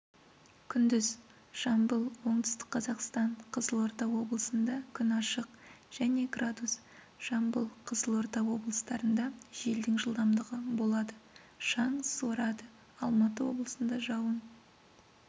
күндіз жамбыл оңтүстік қазақстан қызылорда облысында күн ашық және градус жамбыл қызылорда облыстарында желдің жылдамдығы болады шаң суырады алматы облысында жауын